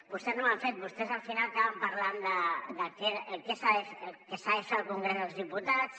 vostès no ho han fet vostès al final acaben parlant del que s’ha de fer al congrés dels diputats